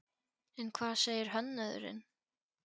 En hvað segir hönnuðurinn?